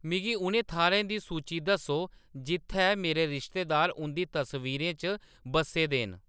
मिगी उ'नें थाह्ऱें दी सूची दस्सो जित्थै मेरे रिश्तेदार उंʼदी तस्वीरें च बस्से दे न